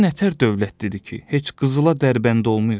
Bu nətər dövlətlidir ki, heç qızıla dərbənd olmur?